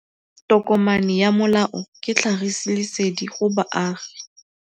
Tokomane ya molao ke tlhagisi lesedi go baagi.